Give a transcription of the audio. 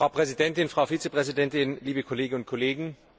Frau Präsidentin, Frau Vizepräsidentin, liebe Kolleginnen und Kollegen!